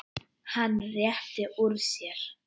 Hann rétti úr sér.